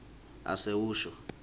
asewusho